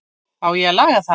Á ég að laga það?